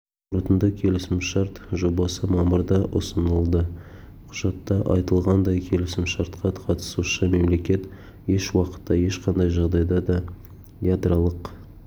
қорытынды келісімшарт жобасы мамырда ұсынылды құжатта айтылғандай келісімшартқа қатысушы мемлекет еш уақытта ешқандай жағдайда да ядролық